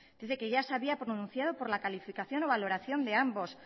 dice que ya se había pronunciado por la calificación o valoración de ambos